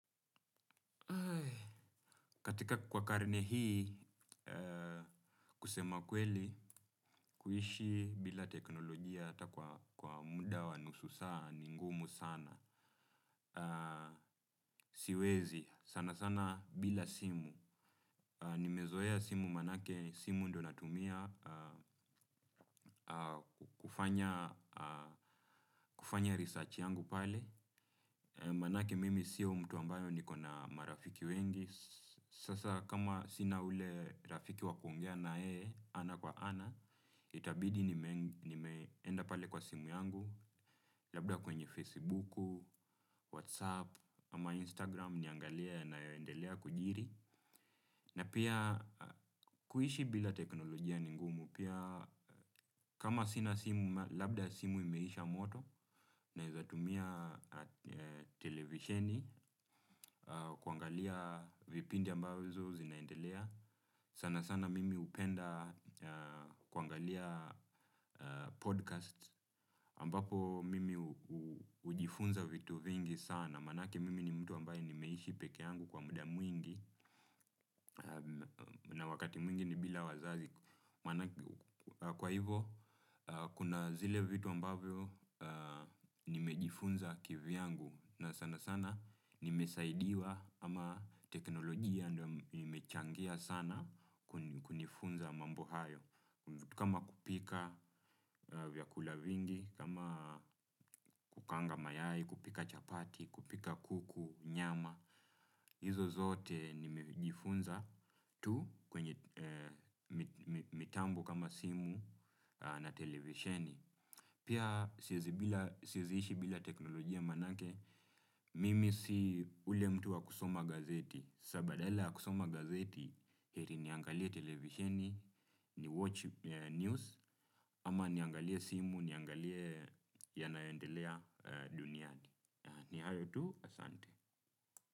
Katika kwa karne hii, kusema kweli, kuishi bila teknolojia hata kwa muda wa nusu saa, ni ngumu sana, siwezi, sana sana bila simu, nimezoea simu maanake, simu ndiyo natumia, kufanya research yangu pale, maanake mimi sio mtu ambayo nikona marafiki wengi, sasa kama sina ule rafiki wakuongea naye, ana kwa ana, itabidi nimeenda pale kwa simu yangu, labda kwenye Facebook, Whatsapp, ama Instagram niangalie yanayo endelea kujiri. Na pia kuishi bila teknolojia ni ngumu pia kama sina simu labda simu imeisha moto naweza tumia televisheni kuangalia vipindi ambazo zinaendelea. Sana sana mimi hupenda kuangalia podcast ambapo mimi hujifunza vitu vingi sana. Maanake mimi ni mtu ambayo nimeishi peke yangu kwa muda mwingi na wakati mwingine bila wazazi. Kwa hivyo, kuna zile vitu ambavyo nimejifunza kivyangu na sana sana nimesaidiwa ama teknolojia imechangia sana kunifunza mambo hayo. Kama kupika vyakula vingi, kama kukaanga mayai, kupika chapati, kupika kuku, nyama, hizo zote nimejifunza tu kwenye mitambo kama simu na televisheni. Pia siwezi kuishi bila teknolojia maanake, mimi si ule mtu wa kusoma gazeti, sasa badala kusoma gazeti, heri niangalie televisheni, ni watch news, ama niangalie simu, niangalie yanayo endelea duniani. Ni hayo tu, asante.